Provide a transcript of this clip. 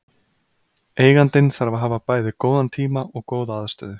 Eigandinn þarf að hafa bæði góðan tíma og góða aðstöðu.